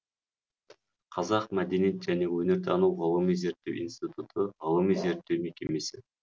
қазақ мәдениет және өнертану ғылыми зерттеу институты ғылыми зерттеу мекемесі